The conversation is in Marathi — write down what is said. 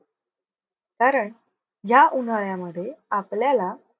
कारण या उन्हाळ्यामध्ये आपल्याला